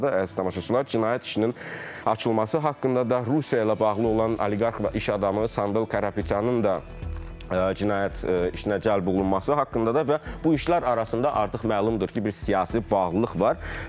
Əziz tamaşaçılar, cinayət işinin açılması haqqında da, Rusiya ilə bağlı olan oliqarx və iş adamı Sambel Karapetyanın da cinayət işinə cəlb olunması haqqında da və bu işlər arasında artıq məlumdur ki, bir siyasi bağlılıq var.